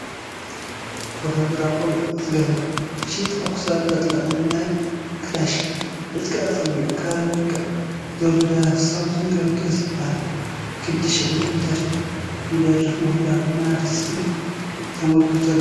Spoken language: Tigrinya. ወታደራዊ ቆቢዕ ዝገበረ፣ ሽርጥ ኣብ ክሳዱ ዘጥለቐ ናይ ክላሽ ዕጥቁ ኣፀጊዑ ክራር ይወቅዕ ዘሎ ደራፊ ሳምሶን ገብረኪሮስ ይበሃል፡፡ ክንዲ ሽሕ ዝብል ደርፊ ይደርፍ ምህላዉ ድማ ኣብቲ ስክሪን ተመልኪቱ ኣሎ፡፡